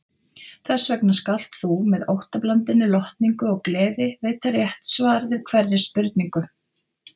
Þessvegna skalt þú með óttablandinni lotningu og gleði veita rétt svar við hverri spurningu.